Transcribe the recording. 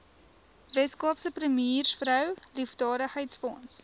weskaapse premiersvrou liefdadigheidsfonds